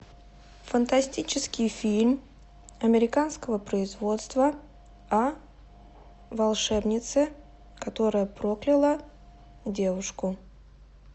фантастический фильм американского производства о волшебнице которая прокляла девушку